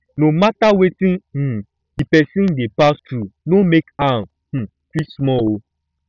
no mata wetin um di person dey pass thru no mek am um feel small ooo